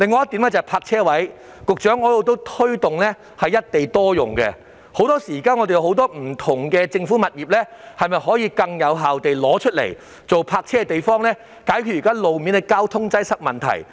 此外，就泊車位方面，局長，我一直推動"一地多用"，希望不同政府物業可以更有效用作泊車用途，以解決路面的交通擠塞問題。